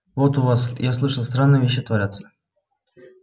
вот у вас я слышал странные вещи творятся